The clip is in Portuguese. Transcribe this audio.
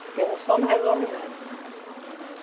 Porque um só não resolve nada.